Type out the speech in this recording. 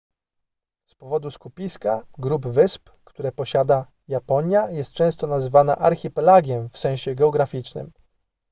z powodu skupiska / grup wysp które posiada japonia jest często nazywana archipelagiem w sensie geograficznym